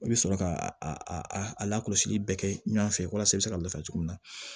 I bɛ sɔrɔ ka a lakɔlɔsili bɛɛ kɛ ɲɔgɔn fɛ walasa i bɛ se ka lafiya cogo min na